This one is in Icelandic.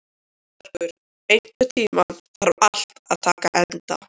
Guðbergur, einhvern tímann þarf allt að taka enda.